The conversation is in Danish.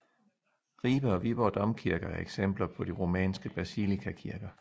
Ribe og Viborg domkirker er eksempler på de romanske basilikakirker